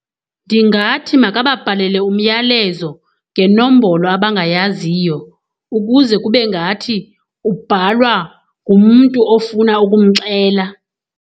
Ndingathi makababhalele umyalezo ngenombolo abangayaziyo ukuze kube ngathi ubhalwa ngumntu ofuna ukumxela.